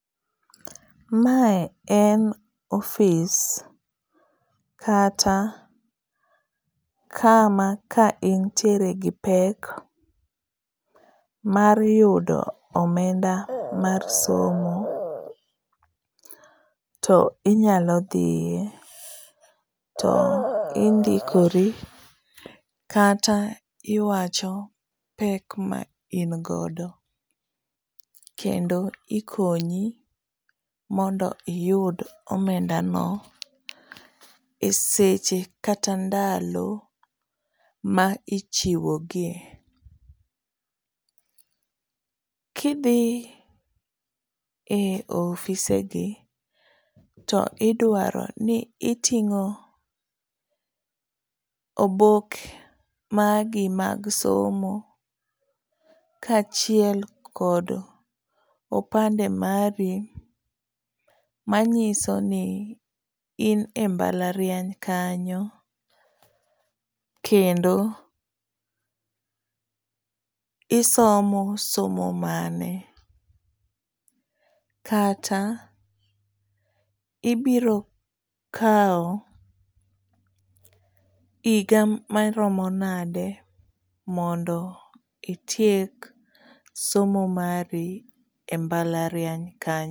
Mae en ofis kata kama ka intiere gi pek mar yudo omenda mar somo to inyalo dhiye to indikori kata iwacho pek ma in godo kendo ikonyi mondo iyud omendano esche kata ndalo ma ichiwo gie. Ka idhi e ofisegi to idwaro ni iting'o obok magi mag somo kaachiel kod opande magi manyiso ni in e mbalariany, isomo somo mane, kata ibiro kawo higa maromo nade mondo itiek somo mari e mbalariany kanyo.